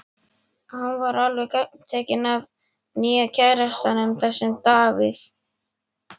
Hún er alveg gagntekin af nýja kærastanum, þessum Davíð.